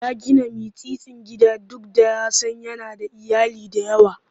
Ya gina mitsitsin gida duk da ya san yana da iyali da yawa.